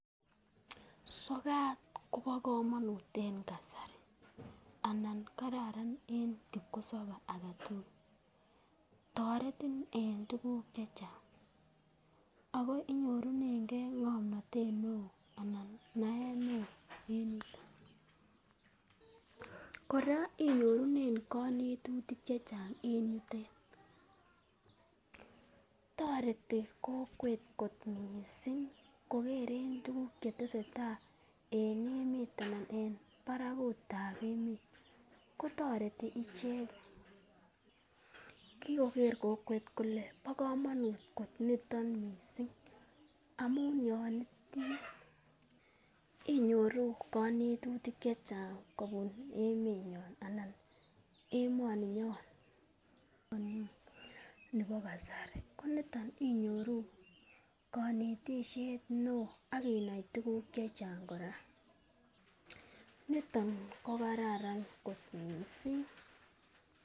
Sokat kobo komunut en kasari anan kararan en kipkosobe age tugul toretin en tuguk che chang ago inyorunenge ng'omnatet neo anan naet neo en yuto. Kora inyorunen konetutik chechang en yutet. toreti kokwet kot mising, kogeren tuguk che testeai en emet anan en barakut ab emet. Kotoreti icheket kigoker kokwet kole bo komonut kot nito mising amun yon itinye inyoru konetutik che chang kobun emenyon anan emoni nyon nebi kasari. Ko niton inyoru konetishet neo ak inai tuguk che chang kora. Niton ko kararan kot mising.